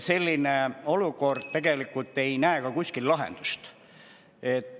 Selles olukorras pole kuskil näha ka lahendust.